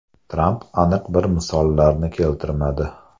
Tramp aniq bir misollarni keltirmadi.